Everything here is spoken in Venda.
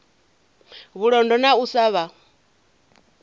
vhulondo na u sa vha